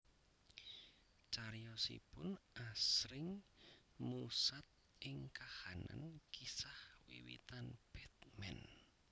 Cariyosipun asring musat ing kahanan kisah wiwitan Batman